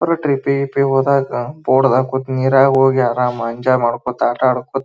ಟ್ರಿಪ್ಪಿಗ ಗಿಪಿಗ ಹೋದಾಗ ಬೋಟ್ ನಾಗೇ ಹೋಗಿ ನೀರಲಿ ಕೂತು ಆರಾಮಾಗಿ ಎಂಜಾಯ್ ಮಾಡಿ ಆಟ ಆಡ್ಕೋತ --